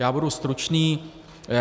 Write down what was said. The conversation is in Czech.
Já budu stručný.